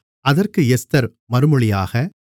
அதற்கு எஸ்தர் மறுமொழியாக